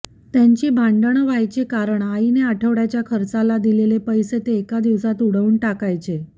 त्यांची भांडण व्हायची कारण आईने आठवड्याच्या खर्चाला दिलेले पैसे ते एका दिवसात उडवून टाकायचे